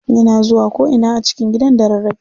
Yana zuwa ko ina a cikin gidan da rarrafe.